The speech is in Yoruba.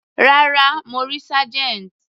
Rárá, mo rí Sergeant.